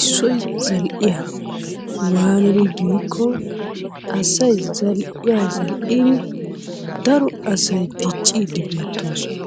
issoy zal'iya. Waanidi giikko asay zal'iya zal'iini daro asay diciiddi beettoosona.